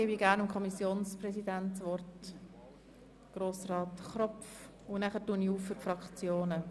Sie haben zum Teil mehr als einen Antrag eingereicht.